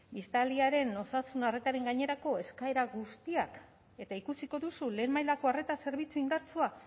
italiaren osasun arretaren gainerako eskaera guztiak eta ikusiko duzu lehen mailako arreta zerbitzu indartsua